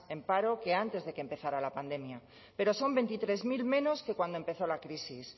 en paro que antes de que empezara a la pandemia pero son veintitrés mil menos que cuando empezó la crisis